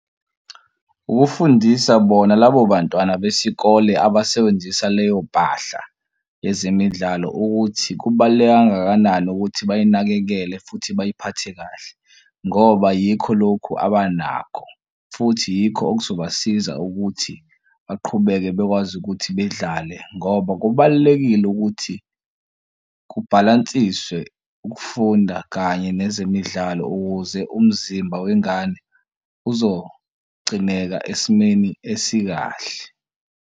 Ukufundisa bona labo bantwana besikole abasebenzisa leyo mpahla yezemidlalo ukuthi kubaluleke kangakanani ukuthi bayinakekele futhi bayiphathe kahle ngoba yikho lokhu abanakho, futhi yikho kuzobasiza ukuthi baqhubeke bekwazi ukuthi bedlale ngoba kubalulekile ukuthi kubhalansiswe ukufunda kanye nezemidlalo ukuze umzimba wengane uzogcineka esimeni esikahle.